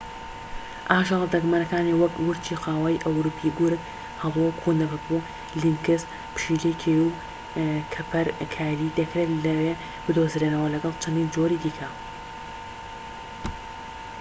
ئاژەڵە دەگمەنەکانی وەک ورچی قاوەیی ئەوروپی گورگ هەڵۆ کوندەپەپوو لینکس پشیلەی کێوی و کەپەرکایلی دەکرێت لەوێ بدۆزرێنەوە لەگەڵ چەندین جۆری دیکە